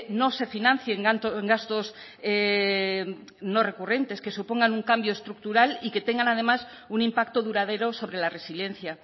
no se financien gastos no recurrentes que supongan un cambio estructural y que tengan además un impacto duradero sobre la resiliencia